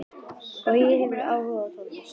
Bogi hefur áhuga á tónlist.